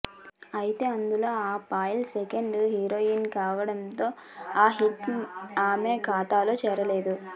ఐతే అందులో Payal second heroine కావడంతో ఆ హిట్ ఆమె ఖాతలో చేరలేదు